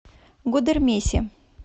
гудермесе